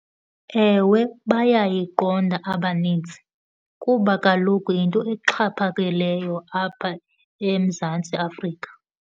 Ewe, bayayiqonda abaninzi kuba kaloku yinto exhaphakileyo apha eMzantsi Afrika.